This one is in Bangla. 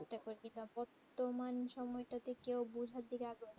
তমান সময়ে তা তে কেউ বোঝা দিকে আগ্রহ